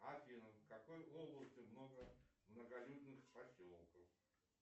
афина в какой области много многолюдных поселков